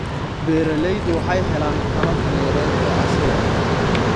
Beeraleydu waxay helaan qalab-beereed oo casri ah.